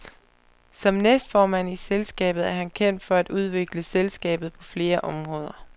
Som næstformand i selskabet er han kendt for at udvikle selskabet på flere områder.